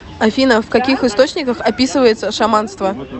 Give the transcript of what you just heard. афина в каких источниках описывается шаманство